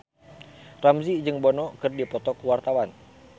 Ramzy jeung Bono keur dipoto ku wartawan